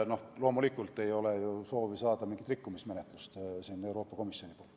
Loomulikult ei ole meil ka soovi saada mingit rikkumismenetlust Euroopa Komisjonilt.